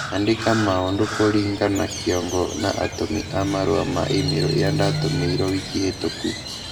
Andĩka maũndũ kũringa na kiongo na atũmi a marũa ma i-mīrū iria ndatumĩirwo wiki hitũku